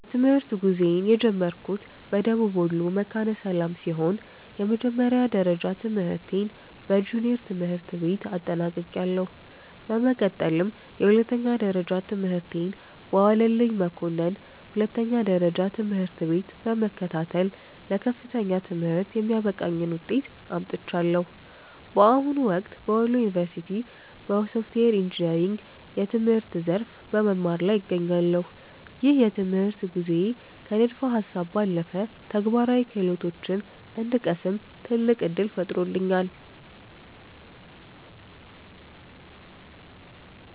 የትምህርት ጉዞዬን የጀመርኩት በደቡብ ወሎ መካነ ሰላም ሲሆን፣ የመጀመሪያ ደረጃ ትምህርቴን በጁኒየር ትምህርት ቤት አጠናቅቄያለሁ። በመቀጠልም የሁለተኛ ደረጃ ትምህርቴን በዋለልኝ መኮንን ሁለተኛ ደረጃ ትምህርት ቤት በመከታተል ለከፍተኛ ትምህርት የሚያበቃኝን ውጤት አምጥቻለሁ። በአሁኑ ወቅት በወሎ ዩኒቨርሲቲ (Wollo University) በሶፍትዌር ኢንጂነሪንግ የትምህርት ዘርፍ በመማር ላይ እገኛለሁ። ይህ የትምህርት ጉዞዬ ከንድፈ ሃሳብ ባለፈ ተግባራዊ ክህሎቶችን እንድቀስም ትልቅ ዕድል ፈጥሮልኛል።